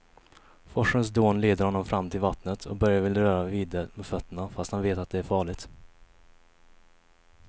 Forsens dån leder honom fram till vattnet och Börje vill röra vid det med fötterna, fast han vet att det är farligt.